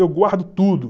Eu guardo tudo.